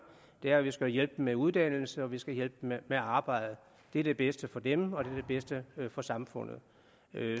er at vi skal hjælpe dem med uddannelse og vi skal hjælpe dem med arbejde det er det bedste for dem og det er det bedste for samfundet